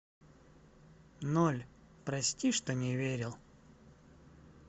ноль прости что не верил